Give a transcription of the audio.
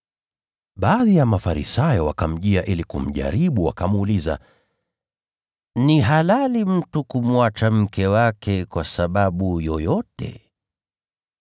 Baadhi ya Mafarisayo wakamjia ili kumjaribu, wakamuuliza, “Ni halali mtu kumwacha mke wake kwa sababu yoyote?”